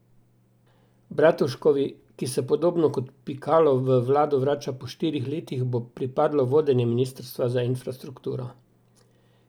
Bratuškovi, ki se podobno kot Pikalo v vlado vrača po štirih letih, bo pripadlo vodenje ministrstva za infrastrukturo.